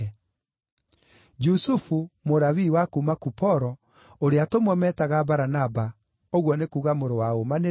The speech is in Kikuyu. Jusufu, Mũlawii wa kuuma Kuporo, ũrĩa atũmwo meetaga Baranaba (ũguo nĩ kuuga Mũrũ wa Ũũmanĩrĩria),